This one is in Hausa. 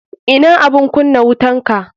Ina abun kunna wutanka.